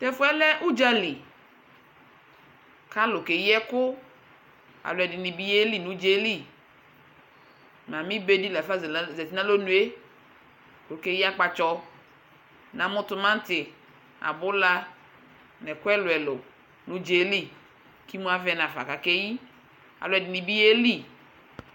Tɛfu yɛ lɛ udzlι kalʋ ke yi ɛkʋ Alʋɛdi ni bi yeli nʋ udza yɛ lι Mami be di lafa zati nʋ alonue kʋ okeyi akpatsɔ Mamu timati, abula nʋ ɛkʋ ɛlʋɛlʋ nʋ udza yɛ lι kʋ emu avɛ nafa kʋ akeyi Ɛdi ni bi yelι